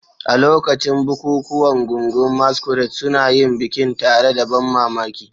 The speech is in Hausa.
A lokacin bukukuwan, gungun masquerade suna yin bikin tare da ban mamaki.